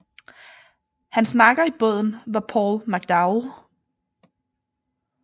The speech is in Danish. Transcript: Hans makker i båden var Paul McDowell